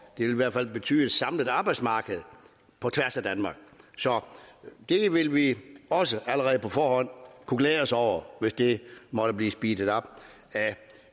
det vil i hvert fald betyde et samlet arbejdsmarked på tværs af danmark så det vil vi også allerede på forhånd kunne glæde os over hvis det måtte blive speedet op af